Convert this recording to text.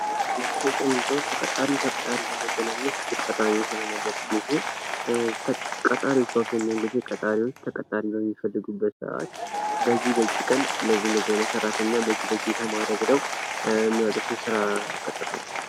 ማስታወቂያ ማለት ተቀጣሪና ቀጣሪን ለማገናኘት እጅግ ጠቃሚ የሆነ ነገር ሲሆን ቀጣሪዎች በአብዛኛውን ጊዜ ቀጣሪዎች ተቀጣሪ በሚፈልጉበት ሰአት በዚህ በዚህ ቀን እንደዚህ እንደዚህ ያለ ሰራተኛ በዚህ በዚህ የተማረ ብለው የሚያወጡት የስራ ቅጥር ነው።